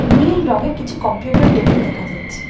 নীল রংয়ের কিছু computer table দেখা যাচ্ছে।